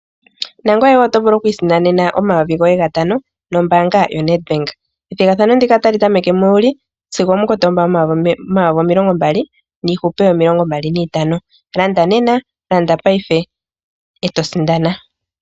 Nangoye wo otovulu okwiisindanena omayovi goye gatano nombaanga ya Nedbank. Ethigathano ndika otali tameke mu Juli sigo omukotoomba 2025. Landa nena, landa paife eto sindana.